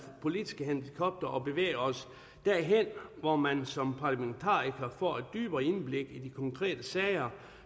politiske helikopter og bevæger os derhen hvor man som parlamentariker får et dybere indblik i de konkrete sager